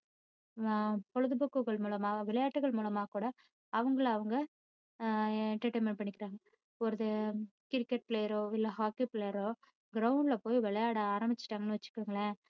ஆஹ் பொழுதுபோக்குகள் மூலமாக விளையாட்டுகள் மூலமா கூட அவங்களை அவங்க ஆஹ் entertainment பண்ணிக்கிட்டாங்க ஒரு cricket player ஓ இல்ல hockey player ஓ ground ல போய் விளையாட ஆரம்பிச்சிட்டாங்கன்னு வைச்சுக்கோங்களேன்,